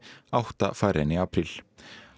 átta færri en í apríl